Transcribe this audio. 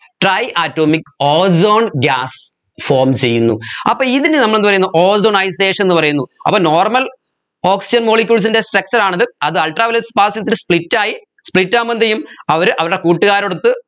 tri atomic ozone gas form ചെയ്യുന്നു അപ്പോ ഇതിന് നമ്മൾ എന്ത് പറയുന്നു ozonisation എന്നു പറയുന്നു അപ്പോ normal oxygen molecules ൻറെ structure ആണത് അത് ultraviolet sparks ൽ split ആയി split ആവുമ്പോ എന്തുചെയ്യും അവർ അവരുടെ കൂട്ടുകാരോടൊത്ത്